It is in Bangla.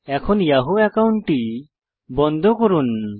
এখন ইয়াহু অ্যাকাউন্টটি বন্ধ করুন